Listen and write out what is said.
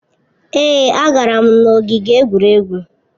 Èé, agara m n'ogige egwuregwu.